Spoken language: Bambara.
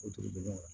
O dugu bɛ yan